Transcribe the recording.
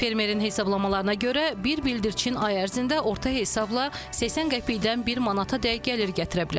Fermerin hesablamalarına görə bir bildirçin ay ərzində orta hesabla 80 qəpikdən bir manatadək gəlir gətirə bilər.